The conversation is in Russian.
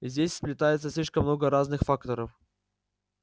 здесь сплетается слишком много разных факторов